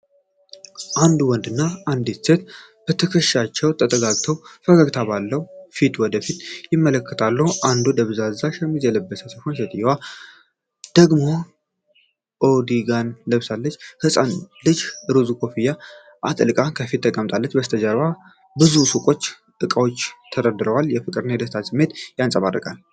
አንድ ወንድና አንዲት ሴት በትከሻቸው ተጠጋግተው፣ ፈገግታ ባለው ፊት ወደ ፊት ይመለከታሉ። ወንዱ ደብዛዛ ሸሚዝ የለበሰ ሲሆን ሴትየዋ ደግሞ ካርዲጋን ለብሳለች። ህፃን ልጅ ሮዝ ኮፍያ አጥልቃ ከፊት ተቀምጣለች፤ ከበስተጀርባ ብዙ የሱቅ እቃዎች ተደርድረዋል። የፍቅርና የደስታ ስሜት ያንጸባርቃል።